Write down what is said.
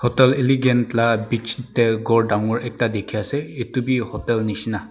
hotel elegant lah bich teh ghor dangor ekta dikhi ase etu be hotel nisna.